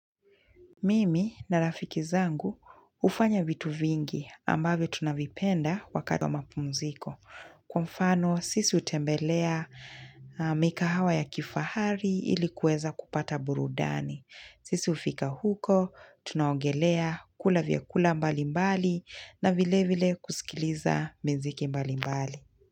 Mimi na rafiki zangu hufanya vitu vingi ambavyo tunavipenda wakati wa mapumziko. Kwa mfano sisi hutembelea mikahawa ya kifahari ili kuweza kupata burudani. Sisi hufika huko, tunaogelea kula vyakula mbali mbali na vile vile kusikiliza mziki mbali mbali.